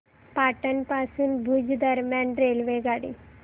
पाटण पासून भुज दरम्यान रेल्वेगाडी